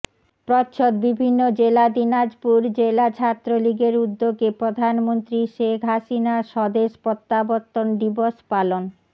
প্রচ্ছদ বিভিন্নজেলা দিনাজপুর জেলা ছাত্রলীগের উদ্যোগে প্রধানমন্ত্রী শেখ হাসিনার স্বদেশ প্রত্যাবর্তন দিবস পালন